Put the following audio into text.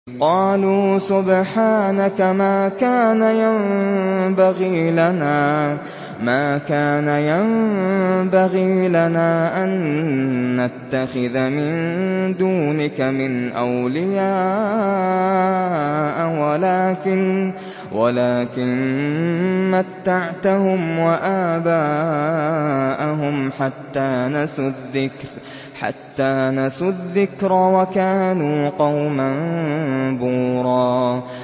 قَالُوا سُبْحَانَكَ مَا كَانَ يَنبَغِي لَنَا أَن نَّتَّخِذَ مِن دُونِكَ مِنْ أَوْلِيَاءَ وَلَٰكِن مَّتَّعْتَهُمْ وَآبَاءَهُمْ حَتَّىٰ نَسُوا الذِّكْرَ وَكَانُوا قَوْمًا بُورًا